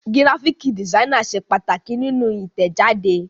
Gíráfíkì dìsáínì ṣe pàtàkì nínú Ìtẹ̀jáde.